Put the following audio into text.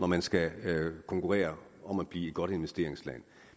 man skal konkurrere om at blive et godt investeringsland